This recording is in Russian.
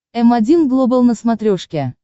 м один глобал на смотрешке